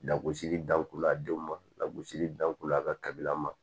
Lagosili danko la a denw ma lagosili danko la a ka kabila ma